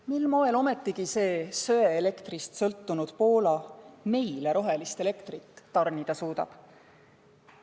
Mil moel ometi see kivisöe elektrist sõltunud Poola meile rohelist elektrit tarnida suudab?